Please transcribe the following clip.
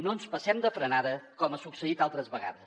no ens passem de frenada com ha succeït altres vegades